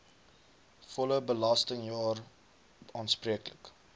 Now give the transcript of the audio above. volle belastingjaar aanspreeklik